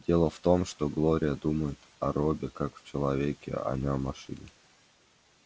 дело в том что глория думает о робби как о человеке а не о машине